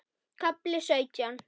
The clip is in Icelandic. KAFLI SAUTJÁN